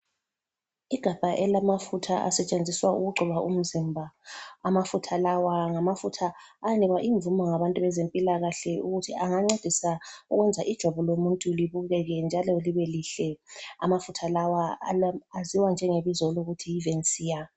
Igabha elamafutha asetshenziswa ukugcoba umzimba, amafutha lawa ngamafutha awanikwa imvumo ngabantu bezempilakahle ukuthi angancedisa ukwenza ijwabu lomuntu libukeke njalo libelihle, amafutha lawa aziwa njengebizo lokuthi yivensiya.